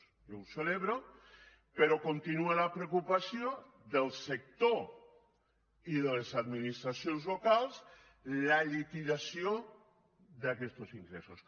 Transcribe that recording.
jo ho celebro però continua la preocupació del sector i de les administracions locals la liquidació d’aquestos ingressos